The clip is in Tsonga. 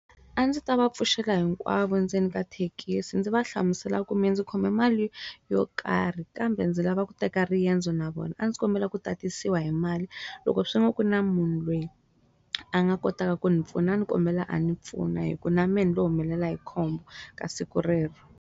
A ndzi ta va pfuxela hinkwavo ndzeni ka thekisi ndzi va hlamusela kumbe ndzi khome mali yo karhi kambe ndzi lava ku teka riendzo na vona a ndzi kombela ku tatisela hi mali loko swi n'wi ku na munhu loyi a nga kotaka ku ni pfuna ni kombela a ni pfuna hi ku na many lo humelela hi khombo ka siku rero.